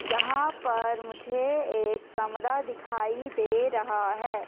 यहां पर मुझे एक कमरा दिखाई दे रहा है।